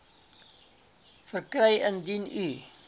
verkry indien u